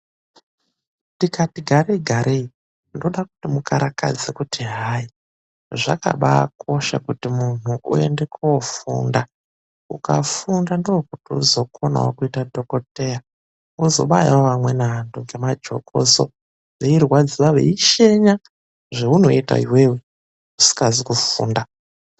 Tikati garegarei ndode kuti mukarakadze kuti hayi, zvakabaakosha kuti muntu uende koofunda. Ukafunda ndiko kuti muntu uzokonawo kuita dhogodheya. Uzobayawo amweni anthu ngemajokoso, veirwadziwa veishenya. Zveunoita iwewe usikazi kufunda.